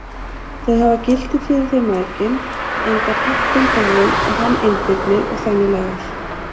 Þau hafi gildi fyrir þau mæðginin, enda pabbinn dáinn og hann einbirni og þannig lagað.